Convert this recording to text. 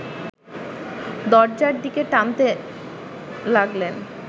দরজার দিকে টানতে লাগলেন